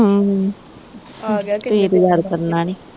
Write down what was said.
ਹੂੰ ਹੂੰ ਤੁਸੀਂ ਤੇ ਯਾਦ ਕਰਨਾ ਨੀ